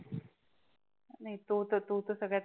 तो तर तो सगड्या